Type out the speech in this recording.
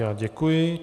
Já děkuji.